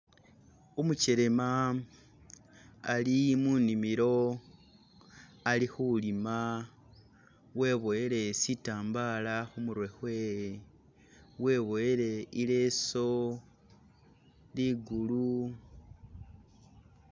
Umukyelema ali munimilo ali kulima weboyele sitambala khumurwe khwewe , weboyele ileso ikulu.